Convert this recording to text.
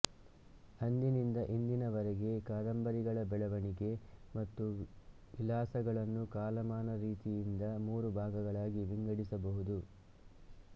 ಅಂದಿನಿಂದ ಇಂದಿನವರೆಗಿನ ಕಾದಂಬರಿಗಳ ಬೆಳೆವಣಿಗೆ ಮತ್ತು ವಿಲಾಸಗಳನ್ನು ಕಾಲಮಾನ ರೀತಿಯಿಂದ ಮೂರು ಭಾಗಗಳಾಗಿ ವಿಂಗಡಿಸಬಹುದು